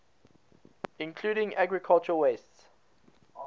including agricultural wastes